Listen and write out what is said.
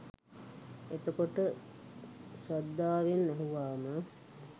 එතකොට ශ්‍රද්ධාවෙන් ඇහුවාම